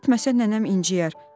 Getməsə nənəm inciyər.